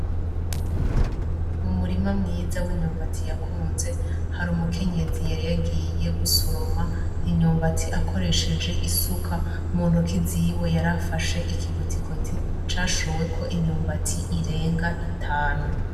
Umurima mwiza w'imyumbati yakunze har'umukenyezi yari yagiye gusoroma imyumbati akoresheje isuka , muntoke ziwe yari afashe ikigozigozi cashoweko imyumbati irenga itanu .